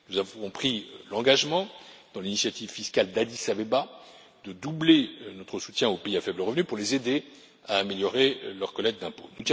Nous avons pris l'engagement, dans l'initiative fiscale d'Addis Abeba, de doubler notre soutien aux pays à faible revenu pour les aider à améliorer leur collecte d'impôts.